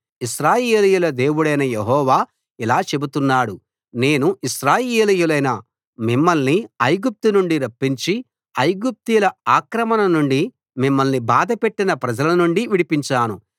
ఇశ్రాయేలీయుల దేవుడైన యెహోవా ఇలా చెబుతున్నాడు నేను ఇశ్రాయేలీయులైన మిమ్మల్ని ఐగుప్తు నుండి రప్పించి ఐగుప్తీయుల ఆక్రమణ నుండి మిమ్మల్ని బాధపెట్టిన ప్రజలనుండి విడిపించాను